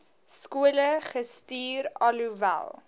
skole gestuur alhoewel